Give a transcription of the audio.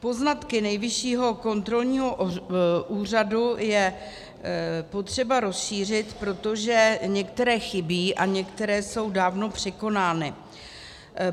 Poznatky Nejvyššího kontrolního úřadu je potřeba rozšířit, protože některé chybí a některé jsou dávno překonány.